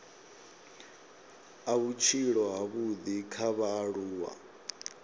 a vhutshilo havhudi kha vhaaluwa